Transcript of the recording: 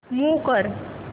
move कर